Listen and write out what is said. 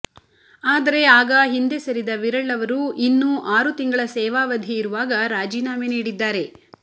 ಆದರೆ ಆಗ ಹಿಂದೆ ಸರಿದ ವಿರಳ್ ಅವರು ಇನ್ನೂ ಆರು ತಿಂಗಳ ಸೇವಾವಧಿ ಇರುವಾಗ ರಾಜೀನಾಮೆ ನೀಡಿದ್ದಾರೆ